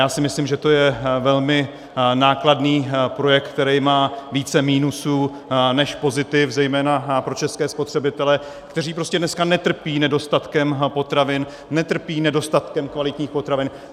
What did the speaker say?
Já si myslím, že je to velmi nákladný projekt, který má více minusů než pozitiv, zejména pro české spotřebitele, kteří prostě dneska netrpí nedostatkem potravin, netrpí nedostatkem kvalitních potravin.